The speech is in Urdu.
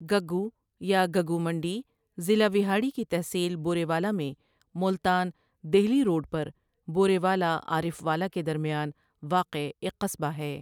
گگّو یا گگو منڈی ضلع وہاڑی کی تحصیل بورے والا میں ملتان دہلی روڈ پر بورے والا عارفوالہ کے درمیان واقع ایک قصبہ ہے ۔